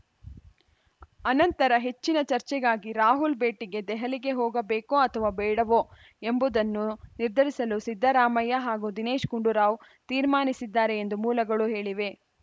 ಅನಂತರ ಹೆಚ್ಚಿನ ಚರ್ಚೆಗಾಗಿ ರಾಹುಲ್‌ ಭೇಟಿಗೆ ದೆಹಲಿಗೆ ಹೋಗಬೇಕೋ ಅಥವಾ ಬೇಡವೋ ಎಂಬುದನ್ನು ನಿರ್ಧರಿಸಲು ಸಿದ್ದರಾಮಯ್ಯ ಹಾಗೂ ದಿನೇಶ್‌ ಗುಂಡೂರಾವ್‌ ತೀರ್ಮಾನಿಸಿದ್ದಾರೆ ಎಂದು ಮೂಲಗಳು ಹೇಳಿವೆ